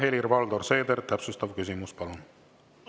Helir-Valdor Seeder, täpsustav küsimus, palun!